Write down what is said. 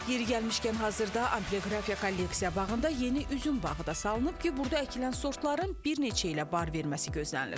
Yeri gəlmişkən, hazırda ambioqrafiya kolleksiya bağında yeni üzüm bağı da salınıb ki, burda əkilən sortların bir neçə ilə bar verməsi gözlənilir.